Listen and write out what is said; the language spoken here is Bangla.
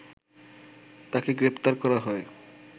তাকে গ্রেপ্তার করা হয়